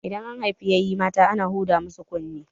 Idan an haifi ƴaƴa mata ana huda musu kunne